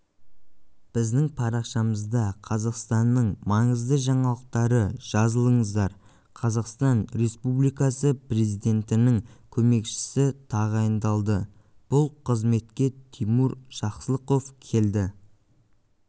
біздің парақшамызда қазақстанның маңызды жаңалықтары жазылыңыздар қазақстан республикасы президентінің көмекшісі тағайындалды бұл қызметке тимур жақсылықов келді